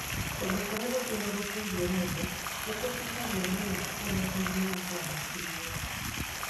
Kũndũ kũrĩa gũthiũrũrũkĩirie mũndũ nĩ kũhutagia mũno ũrĩa ũgima wake wa hakiri ũrĩ.